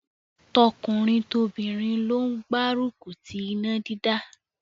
Tọkùnrin tobìnrin ló gbárùkù ti iná dídá.